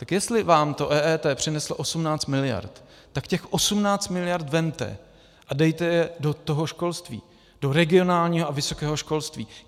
Tak jestli vám to EET přinese 18 miliard, tak těch 18 miliard vezměte a dejte je do toho školství, do regionálního a vysokého školství.